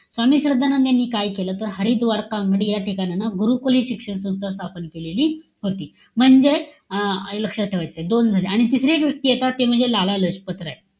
स्वामी श्रद्धानंद यांनी काय केलं? तर हरिद्वार या ठिकाणांना गुरुकुले शिक्षण संस्था स्थापन केलेली होती. म्हणजेच, अं लक्षात ठेवायचंय. दोन झाले. आणि तिसरी एक व्यक्ती येतात. ते म्हणजे लाला लजपत राय.